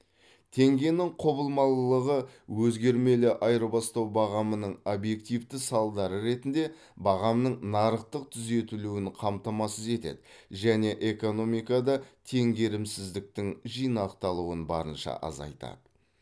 теңгенің құбылмалылығы өзгермелі айырбастау бағамының объективті салдары ретінде бағамның нарықтық түзетілуін қамтамасыз етеді және экономикада теңгерімсіздіктің жинақталуын барынша азайтады